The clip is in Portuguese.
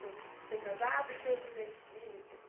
Ser ser casado e ter o primeiro filho e o segundo.